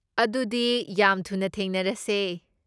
ꯑꯗꯨꯗꯤ ꯌꯥꯝ ꯊꯨꯅ ꯊꯦꯡꯅꯔꯁꯦ꯫